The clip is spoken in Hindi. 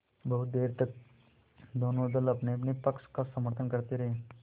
बहुत देर तक दोनों दल अपनेअपने पक्ष का समर्थन करते रहे